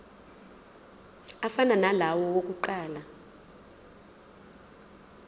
afana nalawo awokuqala